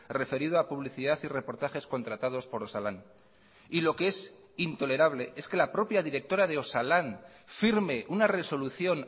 referido a publicidad y reportajes contratados por osalan y lo que es intolerable es que la propia directora de osalan firme una resolución